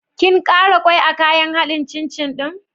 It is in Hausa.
Kin ƙara ƙwai a kayan haɗin cin cin ɗin?